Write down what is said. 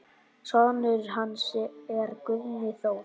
Sonur hans er Guðni Þór.